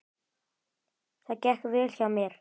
Það gekk vel hjá mér.